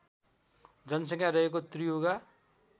जनसङ्ख्या रहेको त्रियुगा